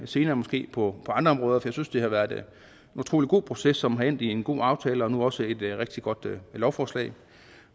senere måske på andre områder for jeg synes det har været en utrolig god proces som er endt med en god aftale og nu også et rigtig godt lovforslag